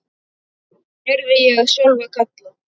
heyrði ég Sölva kalla.